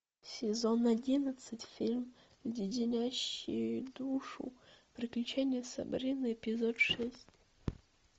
сезон одиннадцать фильм леденящие душу приключения сабрины эпизод шесть